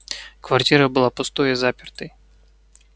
квартира была пустой и запертой